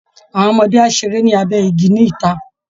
Àwọn ọmọdé á ṣeré lábẹ́ igi níta